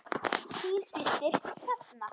Þín systir Hrefna.